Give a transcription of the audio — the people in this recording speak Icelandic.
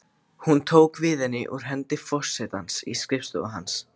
Hún tók við henni úr hendi forsetans í skrifstofu hans.